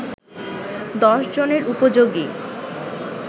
১০ জনের উপযোগী